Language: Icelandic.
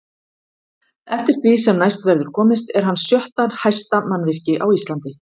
Eftir því sem næst verður komist er hann sjötta hæsta mannvirki á Íslandi.